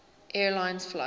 air lines flight